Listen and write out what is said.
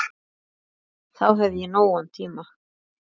Þá hef ég nógan tíma.